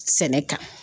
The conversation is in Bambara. Sɛnɛ kan